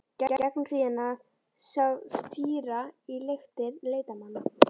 Í gegnum hríðina sást týra í luktir leitarmanna.